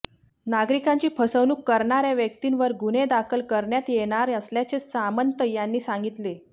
नागरिकांची फसवणूक करणार्या व्यक्तींवर गुन्हे दाखल करण्यात येणार असल्याचे सामंत यांनी सांगितले